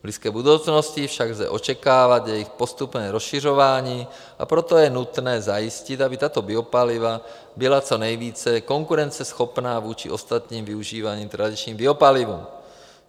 V blízké budoucnosti však lze očekávat jejich postupné rozšiřování, a proto je nutné zajistit, aby tato biopaliva byla co nejvíce konkurenceschopná vůči ostatním využívaným tradičním biopalivům.